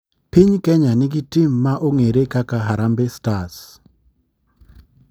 Piny kenya ni gi tim ma ong'ere kaka harambe stars.